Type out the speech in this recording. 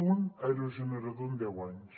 un aerogenerador en deu anys